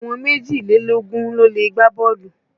Àwọn méjìlélógún ló lè gbá bọ́ọ̀lù.